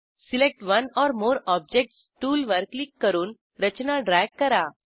select one or more objects टूलवर click करून रचना ड्रॅग करा